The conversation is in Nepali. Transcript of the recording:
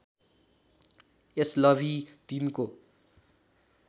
एसलभी ३ को